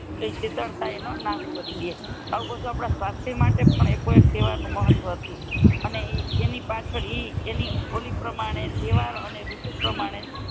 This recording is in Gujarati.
નાશ કરી દે આઉ બધા આપણા સ્વસ્થ માટે પણ એકો એક તહેવાર નો મહત્તવ હતું એની પાછળ ઇ ઓલી પ્રમાણે તહેવાર અને રૂતુ પ્રમાણે